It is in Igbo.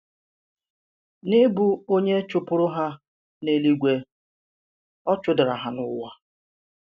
N’ị̀bụ onye chụ̀pùrù ha n’èlúígwe, ọ̀ chụ̀dàrà ha n’ụ̀wà.